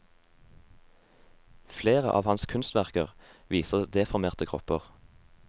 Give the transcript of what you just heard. Flere av hans kunstverker viser deformerte kropper.